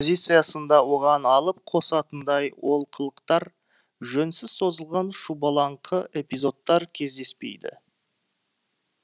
оған алып қосатындай олқылықтар жөнсіз созылған шұбалаңқы эпизодтар кездеспейді